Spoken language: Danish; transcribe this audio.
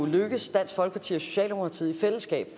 lykkedes dansk folkeparti og socialdemokratiet i fællesskab